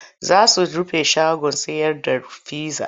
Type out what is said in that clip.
Za su rufe shagon sayar da pizza.